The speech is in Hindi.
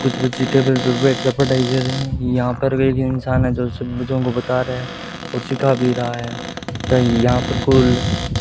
कुछ बच्चे टेबल पे बैठकर पढ़ाई कर रहे हैं यहां पर एक इंसान है जो सभी बच्चों को बता रहे हैं और शिखा भी रहा है तथा यहां पर कुल --